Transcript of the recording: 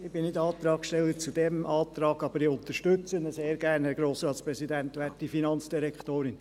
Ich bin nicht der Antragsteller zu diesem Antrag, aber ich unterstütze ihn sehr gern.